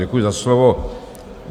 Děkuji za slovo.